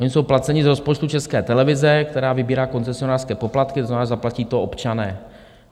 Oni jsou placeni z rozpočtu České televize, která vybírá koncesionářské poplatky, to znamená, zaplatí to občané.